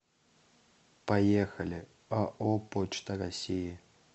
поехали ао почта россии